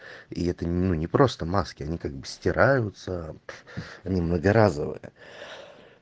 и это ну не просто маски они как бы стираются они многоразовые